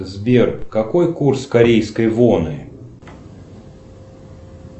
сбер какой курс корейской воны